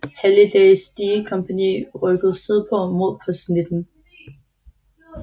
Hallidays D kompagni rykket sydpå mod Post 19